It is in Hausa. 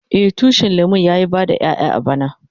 Eh, tushin lemun ya yi bada ƴayan bana.